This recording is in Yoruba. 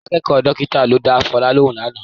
Akẹ́kọ̀ọ́ dọ́kítà ló dá Fọlá lóhùn lánàá